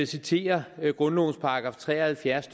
citere grundlovens § tre og halvfjerds